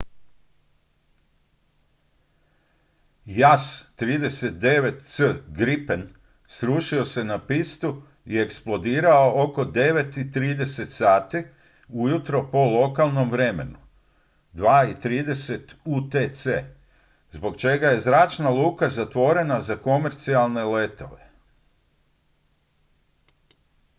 jas 39c gripen srušio se na pistu i eksplodirao oko 9:30 sati ujutro po lokalnom vremenu 0230 utc zbog čeka je zračna luka zatvorena za komercijalne letove